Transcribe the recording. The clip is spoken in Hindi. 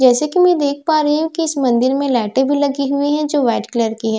जैसे की मैं देख पा रही हूँ कि इस मंदिर में लाइटें भी लगी हुई हैं जो व्हाइट कलर की हैं जैसे की मैं--